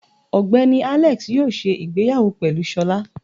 Ogbeni Alex yóò se ìgbéyàwó pelú sọla